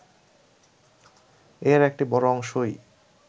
এর একটা বড় অংশই